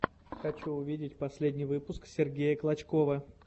хочу увидеть последний выпуск сергея клочкова